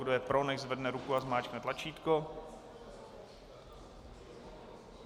Kdo je pro, nechť zvedne ruku a zmáčkne tlačítko.